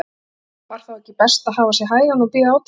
Var þá ekki best að hafa sig hægan og bíða átekta?